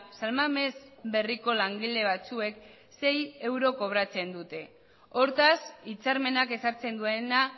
san mamés berriko langile batzuek sei euro kobratzen dute hortaz hitzarmenak ezartzen duena